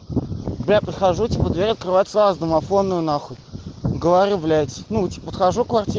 бля подхожу типа дверь открывается а с домофонную нахуй говорю блять ну типа подхожу к квартире